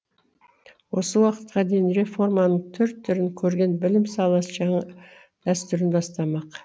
осы уақытқа дейін реформаның түр түрін көрген білім саласы жаңа дәстүрін бастамақ